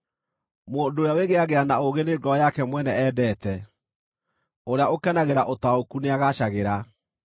Mũndũ ũrĩa wĩgĩĩagĩra na ũũgĩ nĩ ngoro yake mwene endete; ũrĩa ũkenagĩra ũtaũku nĩagaacagĩra.